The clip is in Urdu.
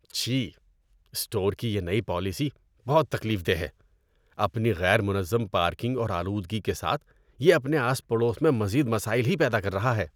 چھی! اسٹور کی یہ نئی پالیسی بہت تکلیف دہ ہے۔ اپنی غیر منظم پارکنگ اور آلودگی کے ساتھ یہ اپنے آس پڑوس میں مزید مسائل ہی پیدا کر رہا ہے۔